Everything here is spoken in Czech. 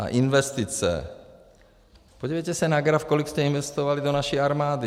A investice - podívejte se na graf, kolik jste investovali do naší armády.